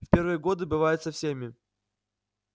в первые годы бывает со всеми